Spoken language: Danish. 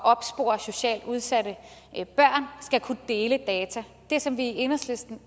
opspore socialt udsatte børn skal kunne dele data det som vi i enhedslisten